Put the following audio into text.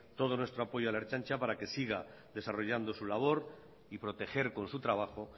todo nuestro apoyo a la ertzaintza para que siga desarrollando su labor y proteger con su trabajo